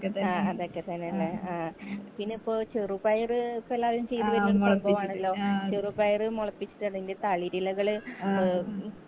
ആ അതൊക്കെ തന്നെ ലെ ആ പിന്നെ ഇപ്പൊ ചെറുപയർ ഇപ്പൊ എല്ലാവരും ചെയ്ത് ഉണ്ടാകുവാണലോ ചെറുപയർ മുളപ്പിച്ചിട്ട് അല്ലെങ്കി തളിരിലകൾ ഉം